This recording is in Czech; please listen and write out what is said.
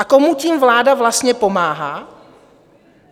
A komu tím vláda vlastně pomáhá?